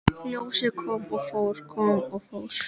Ljósið kom og fór, kom og fór.